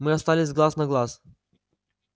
мы остались глаз на глаз